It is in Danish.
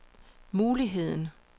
muligheden